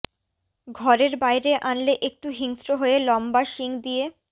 ঘরের বাইরে আনলে একটু হিংস্র হয়ে লম্বা শিং দিয়ে